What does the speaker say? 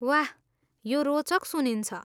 वाह! यो रोचक सुनिन्छ।